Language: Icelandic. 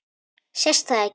Sést það ekki?